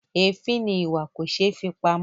Èéfín ni ìwà kò ṣé fi pamọ́.